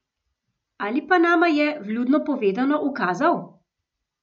Ali pa nama je, vljudno povedano, ukazal?